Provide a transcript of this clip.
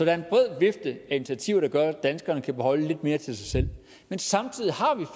er en bred vifte af initiativer der gør at danskerne kan beholde lidt mere til sig selv men samtidig